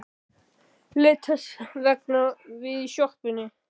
Leit þess vegna við í sjoppunni.